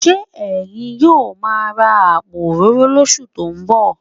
Ṣé ẹ̀yin yóò máa ra àpò òróró lóṣù tó ń bọ̀?